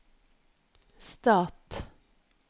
stat